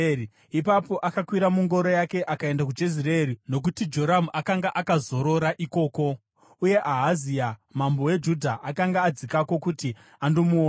Ipapo akakwira mungoro yake akaenda kuJezireeri, nokuti Joramu akanga akazorora ikoko uye Ahazia mambo weJudha akanga adzikako kuti andomuona.